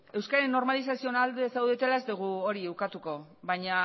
euskararen normalizazioaren alde zaudetela ez dugu hori ukatuko baina